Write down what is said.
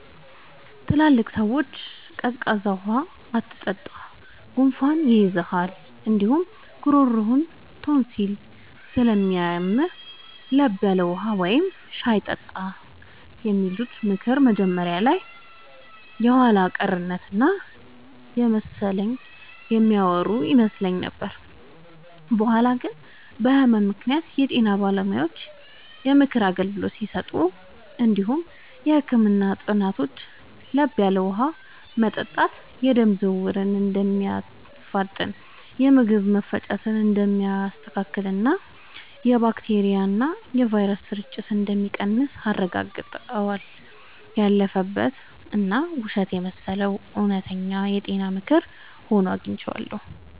ትላልቅ ሰዎች “ቀዝቃዛ ውሃ አትጠጣ፣ ጉንፋን ይይዝሃል እንዲሁም ጉሮሮህን ቶንሲል ስለሚያምህ፤ ለብ ያለ ውሃ ወይም ሻይ ጠጣ” የሚሉት ምክር መጀመሪያ ላይ የኋላ ቀርነት እና በመሰለኝ የሚያወሩ ይመስል ነበር። በኋላ ግን በህመም ምክንያት የጤና ባለሙያዎች የምክር አገልግሎት ሲሰጡ እንዲሁም የህክምና ጥናቶች ለብ ያለ ውሃ መጠጣት የደም ዝውውርን እንደሚያፋጥን፣ የምግብ መፈጨትን እንደሚያስተካክልና የባክቴሪያና ቫይረስ ስርጭትን እንደሚቀንስ አረጋግጠዋል። ያለፈበት እና ውሸት የመሰለው እውነተኛ የጤና ምክር ሆኖ አግኝቼዋለሁ።